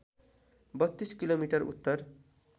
३२ kilometre Uttar